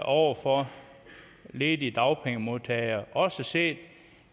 over for ledige dagpengemodtagere også set